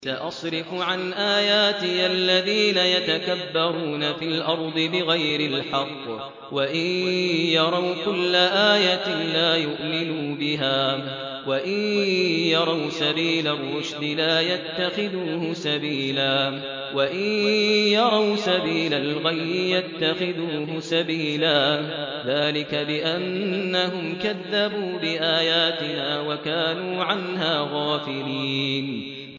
سَأَصْرِفُ عَنْ آيَاتِيَ الَّذِينَ يَتَكَبَّرُونَ فِي الْأَرْضِ بِغَيْرِ الْحَقِّ وَإِن يَرَوْا كُلَّ آيَةٍ لَّا يُؤْمِنُوا بِهَا وَإِن يَرَوْا سَبِيلَ الرُّشْدِ لَا يَتَّخِذُوهُ سَبِيلًا وَإِن يَرَوْا سَبِيلَ الْغَيِّ يَتَّخِذُوهُ سَبِيلًا ۚ ذَٰلِكَ بِأَنَّهُمْ كَذَّبُوا بِآيَاتِنَا وَكَانُوا عَنْهَا غَافِلِينَ